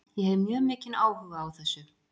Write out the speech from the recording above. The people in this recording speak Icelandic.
Ég hef mjög mikinn áhuga á þessu.